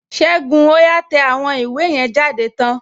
Ségun, ó yá tẹ àwọn ìwé yẹn jáde tán!